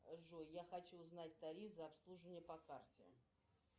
джой я хочу узнать тариф за обслуживание по карте